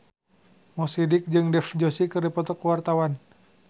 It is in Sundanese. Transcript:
Mo Sidik jeung Dev Joshi keur dipoto ku wartawan